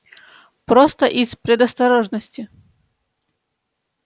просто из предосторожности